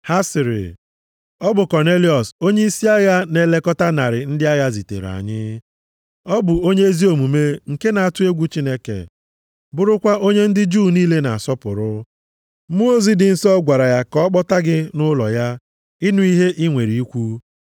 Ha sịrị, “Ọ bụ Kọnelịọs onyeisi agha na-elekọta narị ndị agha zitere anyị. Ọ bụ onye ezi omume nke na-atụ egwu Chineke, bụrụkwa onye ndị Juu niile na-asọpụrụ. Mmụọ ozi dị nsọ gwara ya ka ọ kpọta gị nʼụlọ ya, ịnụ ihe i nwere ikwu.”